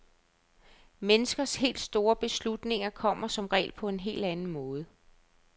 Menneskers helt store beslutninger kommer som regel på en helt anden måde.